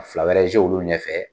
Fila wɛrɛ olu ɲɛfɛ